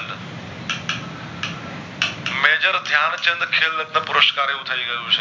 ધ્યાંનચંદ ખેલ રત્ન પુરુષકાર એવું થઈ ગયું છે